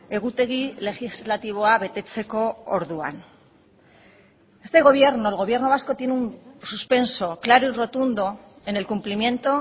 egutegi legislatiboa betetzeko orduan este gobierno el gobierno vasco tiene un suspenso claro y rotundo en el cumplimiento